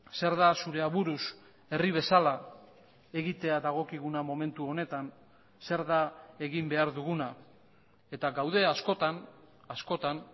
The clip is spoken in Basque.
zer da zure aburuz herri bezala egitea dagokiguna momentu honetan zer da egin behar duguna eta gaude askotan askotan